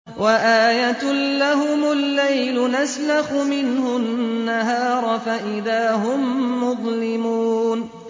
وَآيَةٌ لَّهُمُ اللَّيْلُ نَسْلَخُ مِنْهُ النَّهَارَ فَإِذَا هُم مُّظْلِمُونَ